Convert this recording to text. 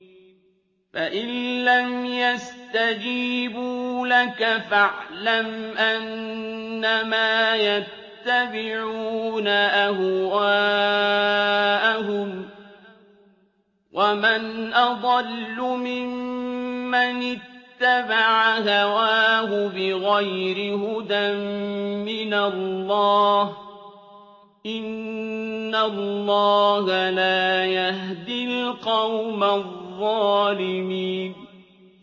فَإِن لَّمْ يَسْتَجِيبُوا لَكَ فَاعْلَمْ أَنَّمَا يَتَّبِعُونَ أَهْوَاءَهُمْ ۚ وَمَنْ أَضَلُّ مِمَّنِ اتَّبَعَ هَوَاهُ بِغَيْرِ هُدًى مِّنَ اللَّهِ ۚ إِنَّ اللَّهَ لَا يَهْدِي الْقَوْمَ الظَّالِمِينَ